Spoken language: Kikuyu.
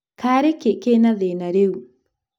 Karĩ kĩ kĩna thĩna rĩũ?